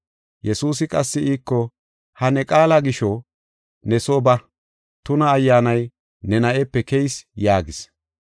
Yesuusi qassi iiko, “Ha ne qaala gisho, ne soo ba; tuna ayyaanay ne na7epe keyis” yaagis.